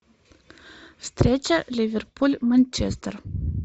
встреча ливерпуль манчестер